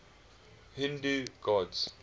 hindu gods